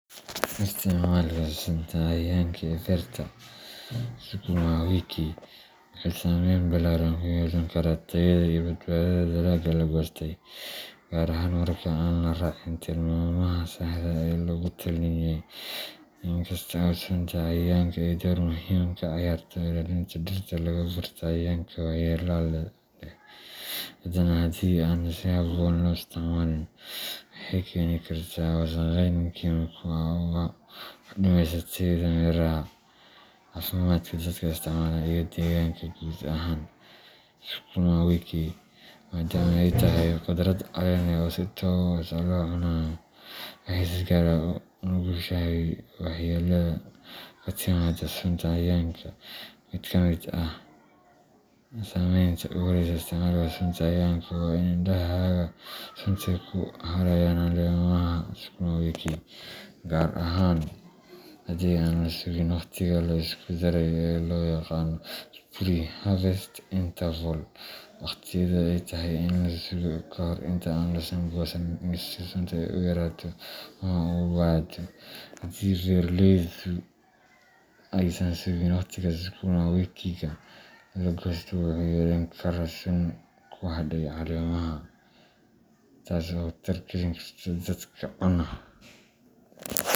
Isticmaalka sunta cayayaanka ee beerta sukuma wiki wuxuu saameyn ballaaran ku yeelan karaa tayada iyo badbaadada dalagga la goostay, gaar ahaan marka aan la raacin tilmaamaha saxda ah ee lagu taliyay. Inkasta oo sunta cayayaanka ay door muhiim ah ka ciyaarto ilaalinta dhirta laga beerto cayayaanka waxyeellada leh, haddana haddii aan si habboon loo isticmaalin, waxay keeni kartaa wasakheyn kiimiko ah oo wax u dhimaysa tayada miraha, caafimaadka dadka isticmaala, iyo deegaanka guud ahaan. Sukuma wiki, maadaama ay tahay khudrad caleen leh oo si toos ah loo cunayo, waxay si gaar ah ugu nugushahay waxyeellada ka timaadda sunta cayayaanka. Mid ka mid ah saameynta ugu horreysa ee isticmaalka sunta cayayaanka waa in hadhaaga sunta ay ku harayaan caleemaha sukuma wiki, gaar ahaan haddii aan la sugin waqtiga la isku daray ee loo yaqaan pre harvest interval waqtiyada ay tahay in la sugo ka hor inta aan la goosan si sunta ay u yaraato ama u baaba’do. Haddii beeraleydu aysan sugin waqtiyadaas, sukuma wikiga la goosto wuxuu yeelan karaa sun ku hadhay caleemaha, taas oo khatar gelin karta dadka cuna.